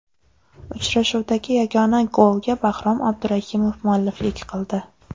Uchrashuvdagi yagona golga Bahrom Abdurahimov mualliflik qildi.